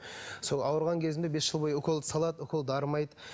сол ауырған кезімде бес жыл бойы уколды салады укол дарымайды